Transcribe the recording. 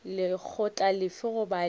lekgotla lefe goba lefe la